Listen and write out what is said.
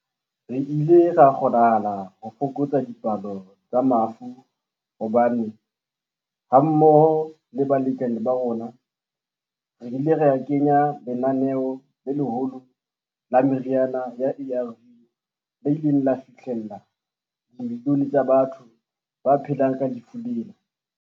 Re ile ra kgonahala ho fokotsa dipalo tsa mafu hobane, hammoho le balekane ba rona, re ile ra kenya lenaneo le leholo la meriana ya ARV le ileng la fihlella dimilione tsa batho ba phelang ka lefu lena.